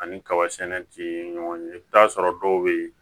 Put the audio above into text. Ani kaba sɛnɛ ti ɲɔgɔn ye i bi t'a sɔrɔ dɔw be yen